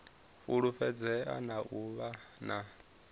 fulufhedzea na u vha na